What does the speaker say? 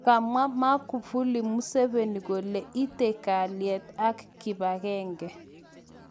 Kamwa Maguvuli Museveni kole ieti kalyeet ak kibagenge.